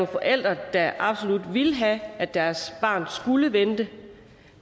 forældre der absolut ville have at deres barn skulle vente